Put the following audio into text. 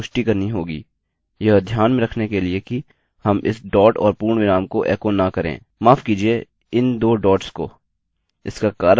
लेकिन हमें अब लूप के भीतर इसकी पुष्टि करनी होगी यह ध्यान में रखने के लिए कि हम इस डॉट और पूर्णविराम को एको न करें – माफ़ कीजिये इन दो डोट्स को